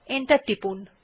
enter টিপুন